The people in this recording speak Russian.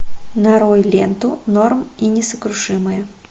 нарой ленту норм и несокрушимые